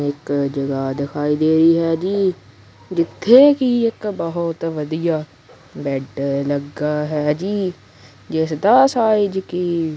ਇੱਕ ਜਗ੍ਹਾ ਦਿਖਾਈ ਦੇ ਰਹੀ ਹੈ ਜੀ ਜਿੱਥੇ ਕੀ ਇੱਕ ਬਹੁਤ ਵਧੀਆ ਬੈਡ ਲੱਗਾ ਹੈ ਜੀ ਜਿਸ ਦਾ ਸਾਈਜ਼ ਕੀ --